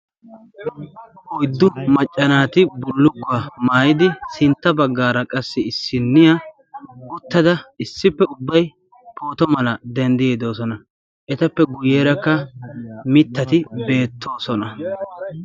oyddu maccanaati bullukkuwaa maayidi sintta baggaara qassi issinniya guttada issippe ubbay pooto mala denddiyiidoosona etappe guyyeerakka mittati beettoosona